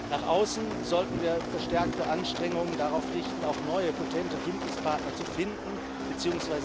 Nach außen sollten wir verstärkte Anstrengungen darauf richten, auch neue potente Bündnispartner zu finden bzw.